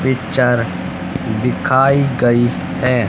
Picture दिखाई गई है।